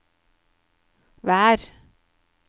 vær